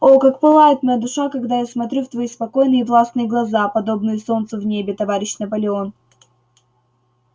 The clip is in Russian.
о как пылает моя душа когда я смотрю в твои спокойные и властные глаза подобные солнцу в небе товарищ наполеон